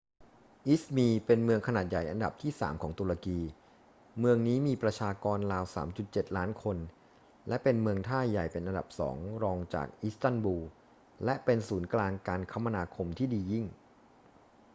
อิซมีร์เป็นเมืองขนาดใหญ่อันดับที่สามของตุรกี เมืองนี้มีประชากรราว 3.7 ล้านคนและเป็นเมืองท่าใหญ่เป็นอันดับสองรองจากอิสตันบูล และเป็นศูนย์กลางการคมนาคมที่ดียิ่ง